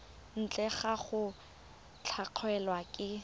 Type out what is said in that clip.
ntle ga go latlhegelwa ke